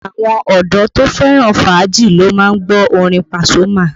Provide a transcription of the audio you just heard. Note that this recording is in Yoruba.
Àwọn ọdọ́ to fẹ́ràn fàájì ló má ń gbọ́ orin Pasuma